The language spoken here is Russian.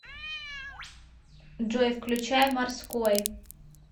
джой включай морской